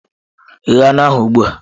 Ghe anụ ahụ ugbu a!